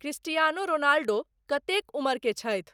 Cristiano Ronaldo कतेक उम्र के छथि